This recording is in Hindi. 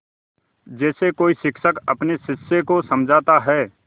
जैसे कोई शिक्षक अपने शिष्य को समझाता है